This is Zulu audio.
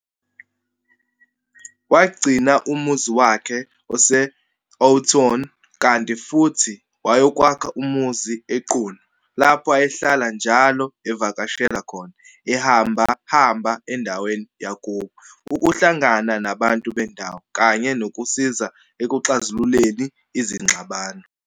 Wagcina umuzi wakhe e-Houghton, kanti futhi wayokwakha umuzi eQunu, lapho ayehlala njalo evakashela khona, ehamba-hamba endaweni yakubo, ukuhlangana nabantu bendawo, kanye nokusiza ekuxazululeni izingxabano.